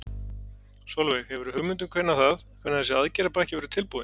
Sólveig: Hefurðu hugmynd um hvenær það, hvenær þessi aðgerðapakki verður tilbúinn?